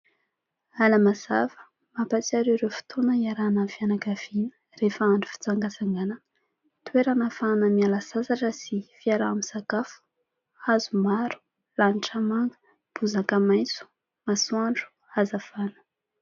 Ala mazava mampahatsiaro ireo fotoana hiarahana amin' ny fianankaviana rehefa andro fitsangatsanganana toerana ahafahana miala sasatra sy fiaraha-misakafo. Hazo maro, lanitra manga, bozaka maitso, masoandro, hazavana.